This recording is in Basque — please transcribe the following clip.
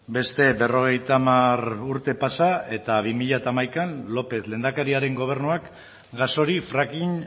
beste berrogeita hamar urte pasa eta bi mila hamaikan lópez lehendakariaren gobernuak gas hori fracking